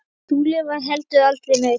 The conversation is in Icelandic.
Trúlega var heldur aldrei nein.